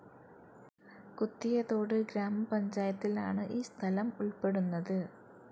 കുത്തിയതോട് ഗ്രാമപഞ്ചായത്തിൽ ആണ് ഈസ്ഥലം ഉൾപ്പെടുന്നത്.